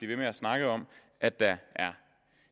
ved med at snakke om at der